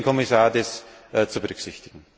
Ich bitte den Kommissar, das zu berücksichtigen.